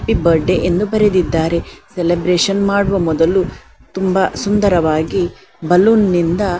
happy birthday ಎಂದು ಬರೆದಿದ್ದಾರೆ celebration ಮಾಡುವ ಮೊದಲು ತುಂಬಾ ಸುಂದರವಾಗಿ ಬಲೂನ್ ನಿಂದ -